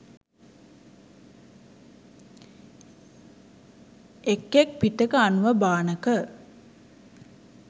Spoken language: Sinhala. එක් එක් පිටක අනුව භාණක